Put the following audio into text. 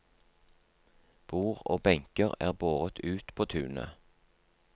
Bord og benker er båret ut på tunet.